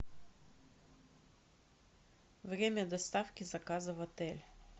время доставки заказа в отель